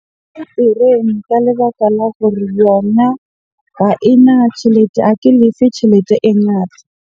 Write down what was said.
Lebaka la gore yona ha ena tjhelete, ha ke lefe tjhelete e ngata.